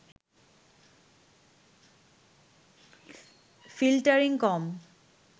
filtering কম